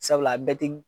Sabula a bɛɛ te